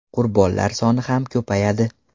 Qurbonlar soni ham ko‘payadi.